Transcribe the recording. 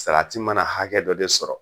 Salati mana hakɛ dɔ de sɔrɔ